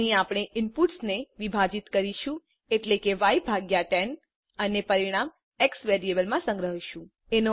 અહીં આપણે ઇનપુટ્સને વિભાજિત કરીશું એટલે કે ય ભાગ્યા 10 અને પરિણામ એક્સ વેરિયેબલમાં સંગ્રહીશું